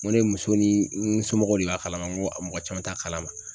N ko ne muso ni n somɔgɔw de b'a kalama n ko a mɔgɔ caman t'a kalama.